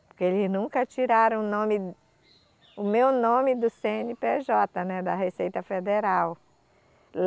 Porque eles nunca tiraram o nome, o meu nome do Cê ene pê jota, né, da Receita Federal.